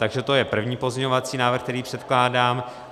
Takže to je první pozměňovací návrh, který předkládám.